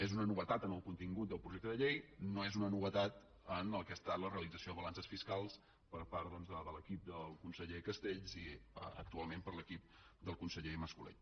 és una novetat en el contingut del projecte de llei no és una novetat en el que ha estat la realització de balances fiscals per part doncs de l’equip del conseller castells i actualment per l’equip del conseller mas colell